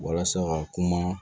Walasa ka kuma